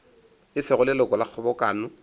e sego leloko la kgobokano